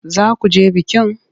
Za ku je bikin?